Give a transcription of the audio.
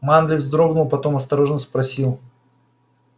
манлис вздрогнул потом осторожно спросил